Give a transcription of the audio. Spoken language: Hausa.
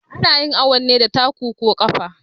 Anayin awun ne da taku ko ƙafa